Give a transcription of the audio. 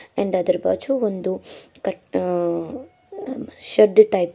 And ಅದರ ಬಾಜು ಒಂದು ಕಟ್ ಆ-ಆ ಶೆಡ್ ಟೈಪ್ ಇದೆ.